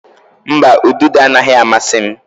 Mba, ududo anaghị amasị m.